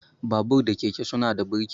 Babur da keke suna da burki.